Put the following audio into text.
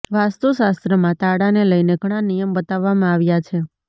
વાસ્તુશાસ્ત્રમાં તાળાને લઇને ઘણાં નિયમ બતાવામાં આવ્યાં છે